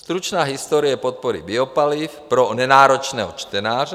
Stručná historie podpory biopaliv pro nenáročného čtenáře;